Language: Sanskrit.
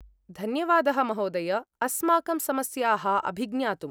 धन्यवादः महोदय! अस्माकं समस्याः अभिज्ञातुम्।